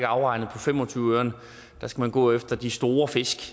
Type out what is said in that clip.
afregnet på fem og tyve øren der skal man gå efter de store fisk